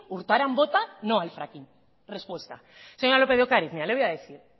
urtaran vota no al fracking respuesta señora lópez de ocariz